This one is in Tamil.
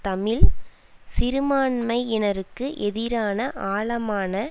தமிழ் சிறுமான்மையினருக்கு எதிரான ஆழமான